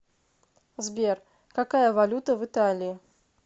сбер какая валюта в италии